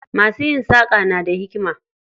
Masu yin saƙa na da hikima.